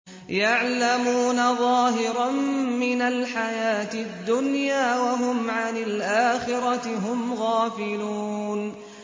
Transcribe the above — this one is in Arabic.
يَعْلَمُونَ ظَاهِرًا مِّنَ الْحَيَاةِ الدُّنْيَا وَهُمْ عَنِ الْآخِرَةِ هُمْ غَافِلُونَ